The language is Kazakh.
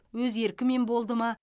өз еркімен болды ма